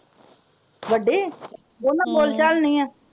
ਵੱਡੀ ਹਮ ਉਹਨਾਂ ਬੋਲ ਚਾਲ ਨਹੀਂ ਹੈ।